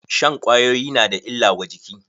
Shan kwayoyi na da illa wa jiki.